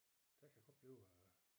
Der kan jeg godt blive øh